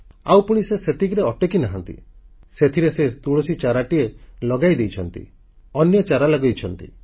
ଆଉ ପୁଣି ସେ ସେତିକିରେ ଅଟକିନାହାନ୍ତି ସେଥିରେ ସେ ତୁଳସୀ ଚାରାଟିଏ ଲଗାଇ ଦେଇଛନ୍ତି ଅନ୍ୟ ଚାରା ଲଗାଇଛନ୍ତି